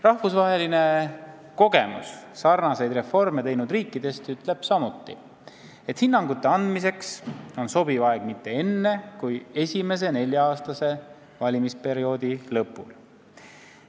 Rahvusvaheline kogemus sarnaseid reforme teinud riikidest ütleb samuti, et hinnangute andmiseks ei ole sobiv aeg enne kui esimese nelja-aastase valimisperioodi lõpul.